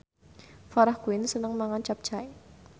Farah Quinn seneng mangan capcay